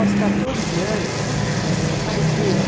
Aos 14 anos, o pai dele